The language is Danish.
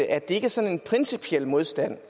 at det ikke er sådan en principiel modstand